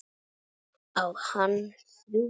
Á hann þrjú börn.